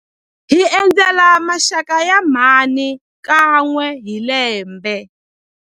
Hi endzela maxaka ya mhani kan'we hi lembe.